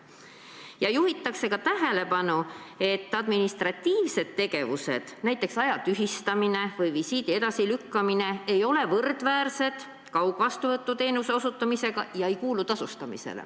Selles juhitakse tähelepanu ka sellele, et administratiivsed tegevused, näiteks aja tühistamine või visiidi edasilükkamine, ei ole võrdväärsed kaugvastuvõtu teenuse osutamisega ega tasustatavad.